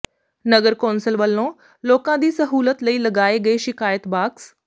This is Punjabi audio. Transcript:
ਨਗਰ ਕੌ ਾਸਲ ਵੱਲੋਂ ਲੋਕਾਂ ਦੀ ਸਹੂਲਤ ਲਈ ਲਗਾਏ ਗਏ ਸ਼ਿਕਾਇਤ ਬਾਕਸ